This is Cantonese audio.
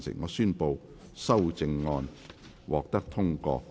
我宣布修正案獲得通過。